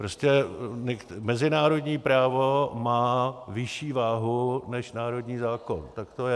Prostě mezinárodní právo má vyšší váhu než národní zákon, tak to je.